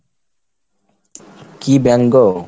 কি bank গো?